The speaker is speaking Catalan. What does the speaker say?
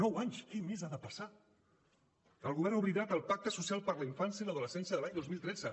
nou anys què més ha de passar el govern ha oblidat el pacte social per a la infància i l’adolescència de l’any dos mil tretze